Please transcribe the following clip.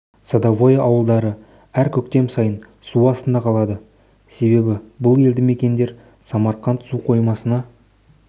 садовое ауылдары әр көктем сайын су астында қалады себебі бұл елді мекендер самарқанд су қоймасына